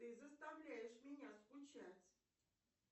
ты заставляешь меня скучать